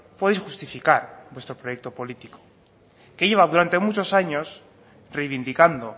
podéis justifica vuestro proyecto político que lleva durante muchos años reivindicando